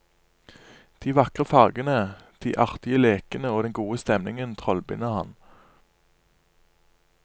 De vakre fargene, de artige lekene og den gode stemningen trollbinder ham.